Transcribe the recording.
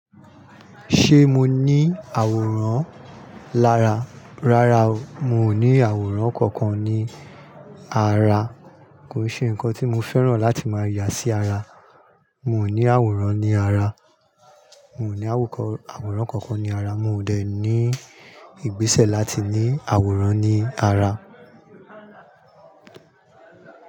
Ṣé mo ní àwòrán lára? Rárá, mi ò ní àwòrán kankan ní ara. Kò sè ǹkan tí mo fẹ́ràn láti máa yà sí ara. Mi ò ní àwòrán ní ara. Mi ò ní àwòrán kankan ní ara. Mi ò dẹ̀ ní ìgbésẹ̀ láti ní àwòrán ní ara.